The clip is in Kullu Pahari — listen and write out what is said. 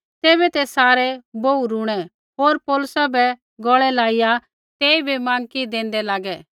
तैबै ते सारै बोहू रूणै होर पौलुसा बै गौल़ै लाइया तेइबै माँकी देंदै लागै